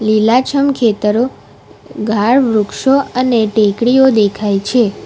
લીલાછમ ખેતરો ગાઢ વૃક્ષો અને ટેકરીઓ દેખાય છે.